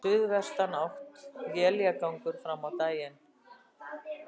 Suðvestanátt og éljagangur fram á daginn